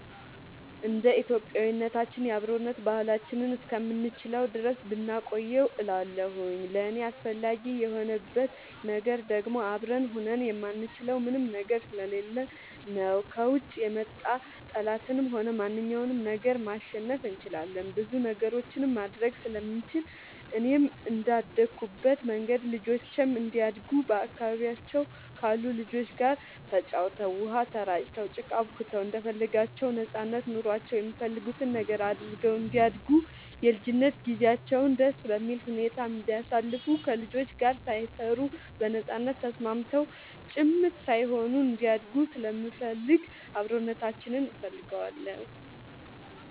እንደ ኢትዮጵያዊነታችን የአብሮነት ባህላችንን እስከምንችለው ድረስ ብናቆየው እላለሁኝ። ለእኔ አስፈላጊ የሆንበት ነገር ደግሞ አብረን ሆነን የማንችለው ምንም ነገር ስለሌለ ነው። ከውጭ የመጣ ጠላትንም ሆነ ማንኛውንም ነገር ማሸነፍ እንችላለን ብዙ ነገሮችንም ማድረግ ስለምንችል፣ እኔም እንደአደኩበት መንገድ ልጆቼም እንዲያድጉ በአካባቢያቸው ካሉ ልጆች ጋር ተጫውተው, ውሃ ተራጭተው, ጭቃ አቡክተው እንደፈለጋቸው ነጻነት ኖሯቸው የሚፈልጉትን ነገር አድርገው እንዲያድጉ የልጅነት ጊዜያቸውን ደስ በሚል ሁኔታ እንዲያሳልፉ ከልጆች ጋር ሳይፈሩ በነጻነት ተስማምተው ጭምት ሳይሆኑ እንዲያድጉ ስለምፈልግ አብሮነታችንን እፈልገዋለሁ።